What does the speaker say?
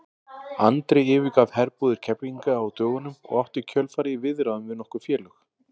Andri yfirgaf herbúðir Keflvíkinga á dögunum og átti í kjölfarið í viðræðum við nokkur félög.